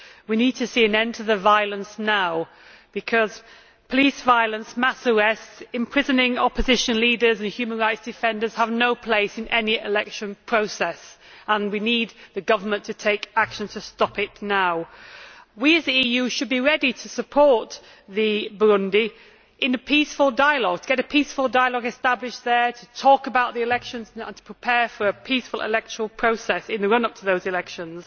We need to see an end to the violence now because police violence, mass arrests and imprisoning opposition leaders and human rights defenders have no place in any election process, and we need the government to take action to stop it now. We as the EU should be ready to support Burundi in a peaceful dialogue, to get a peaceful dialogue established there, to talk about the elections and to prepare for a peaceful electoral process in the run up to those elections,